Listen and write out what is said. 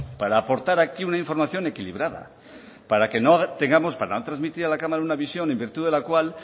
para aportar aquí una información equilibrada para no transmitir a la cámara una visión en virtud de la cual